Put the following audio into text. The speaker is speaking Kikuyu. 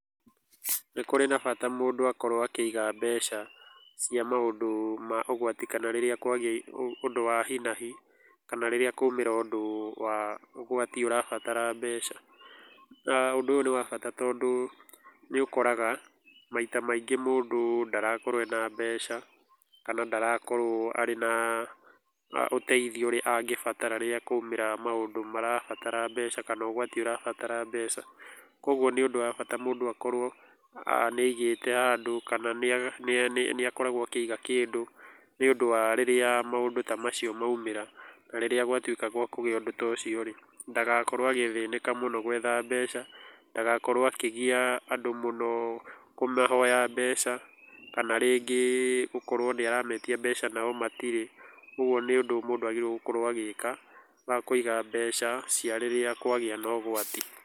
Nĩ kũrĩ na bata mũndũ akorwo akĩiga mbeca cia maũndũ ma ũgwati kana rĩrĩa kwagĩa ũndũ wa hi na hi, kana rĩrĩa kwaumĩra ũndũ wa ũgwati ũrabatara mbeca. Na ũndũ ũyũ nĩ wa bata tondũ, nĩ ũkoraga maita maingĩ mũndũ ndarakorwo ena mbeca, kana ndarakorwo arĩ na ũteithio ũrĩa angĩbatara rĩrĩa kwaumĩra maũndũ marabatara mbeca kana ũgwati ũrabatara mbeca. Koguo nĩ ũndũ wa bata mũndũ akorwo nĩ aigĩte handũ, kana nĩ nĩ akoragwo akĩiga kĩndũ, nĩ ũndũ wa rĩrĩa maũndũ ta macio maumĩra. Rĩrĩa gwatuĩka gwa kũgĩa ũndũ ta ũcio rĩ, ndagakorwo agĩthĩnĩka mũno gwetha mbeca, ndagakorwo akĩgia andũ mũno kũmahoya mbeca, kana rĩngĩ gũkorwo nĩ arametia mbeca na o matirĩ. Ũguo nĩ ũndũ mũndũ agĩrĩirwo gũkorwo agĩka, wa kũiga mbeca cia rĩrĩa kwagĩa na ũgwati.